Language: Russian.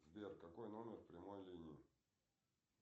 сбер какой номер прямой линии